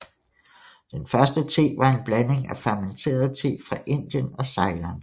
Den første te var en blanding af fermenteret te fra Indien og Ceylon